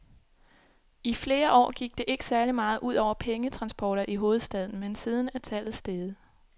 I flere år gik det ikke særlig meget ud over pengetransporter i hovedstaden, men siden er tallet steget.